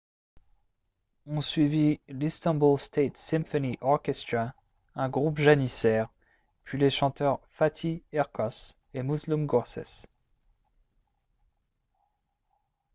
ont suivi l'istanbul state symphony orchestra un groupe janissaire puis les chanteurs fatih erkoç et müslüm gürses